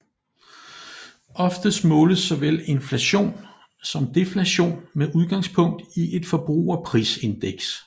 Oftest måles såvel inflation som deflation med udgangspunk i et forbrugerprisindeks